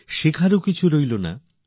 শেখার মতো কিছু ছিল না